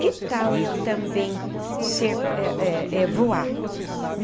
Que tal eu também ser eh eh eh voar?